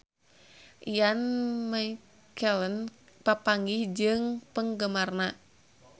Ian McKellen papanggih jeung penggemarna